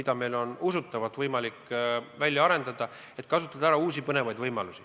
Ja meil on usutavasti seda võimalik välja arendada, kasutades uusi põnevaid võimalusi.